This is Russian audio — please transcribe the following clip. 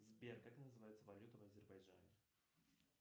сбер как называется валюта в азербайджане